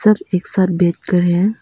सब एक साथ बैठकर हैं।